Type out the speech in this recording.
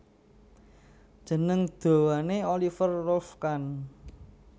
Jeneng dawane Oliver Rolf Kahn